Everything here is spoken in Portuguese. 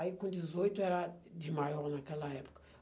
Aí com dezoito era de maior naquela época.